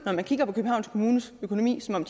når man kigger på københavns kommunes økonomi ser